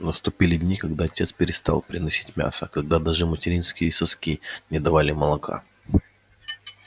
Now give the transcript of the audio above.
наступили дни когда отец перестал приносить мясо когда даже материнские соски не давали молока